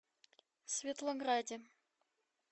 светлограде